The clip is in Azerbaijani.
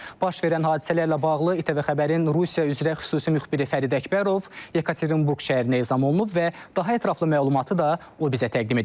Baş verən hadisələrlə bağlı İTV Xəbərin Rusiya üzrə xüsusi müxbiri Fərid Əkbərov Yekaterinburq şəhərinə ezam olunub və daha ətraflı məlumatı da o bizə təqdim edəcək.